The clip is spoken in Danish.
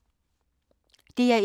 DR1